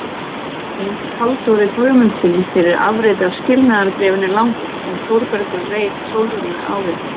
Eins Halldóri Guðmundssyni fyrir afrit af skilnaðarbréfinu langa sem Þórbergur reit Sólrúnu árið